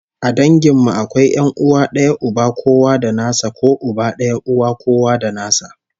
A dangin mu akwai 'yan'uwa d'aya uba kowa da nasa ko uba daya uwa kowa da nasa